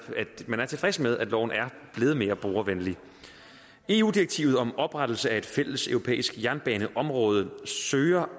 at man er tilfreds med at loven er blevet mere brugervenlig eu direktivet om oprettelse af et fælles europæisk jernbaneområde søger